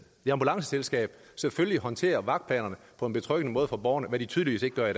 ambulanceselskab selvfølgelig håndterer vagtplanerne på en betryggende måde for borgerne hvad de tydeligvis ikke gør